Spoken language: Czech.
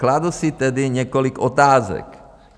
Kladu si tedy několik otázek.